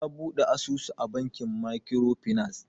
Ya Buɗe asusu a bankin makiro finas